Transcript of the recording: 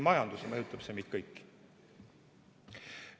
Majanduse kaudu mõjutab see meid kõiki.